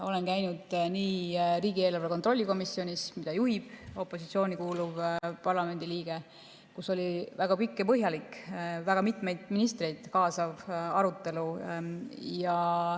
Olen käinud riigieelarve kontrolli komisjonis, mida juhib opositsiooni kuuluv parlamendi liige, kus oli väga pikk ja põhjalik, väga mitmeid ministreid kaasav arutelu.